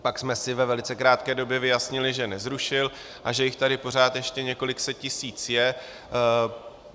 Pak jsme si ve velice krátké době vyjasnili, že nezrušil a že jich tady pořád ještě několik set tisíc je.